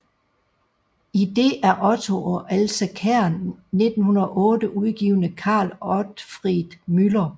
I det af Otto og Else Kern 1908 udgivne Carl Otfried Müller